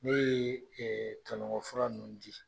N'o ye tɔnɔgɔn fura ninnu di